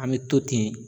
An bɛ to ten